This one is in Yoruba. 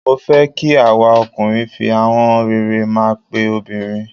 Mó fẹ́ kí àwa ọkùnrin fi ahọ́n rere máa pe obìnrin.